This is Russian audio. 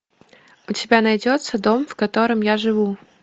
у тебя найдется дом в котором я живу